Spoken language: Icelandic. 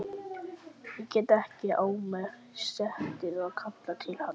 Ég gat ekki á mér setið að kalla til hans.